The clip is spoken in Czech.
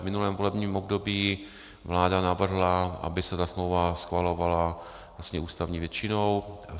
V minulém volebním období vláda navrhla, aby se ta smlouva schvalovala ústavní většinou.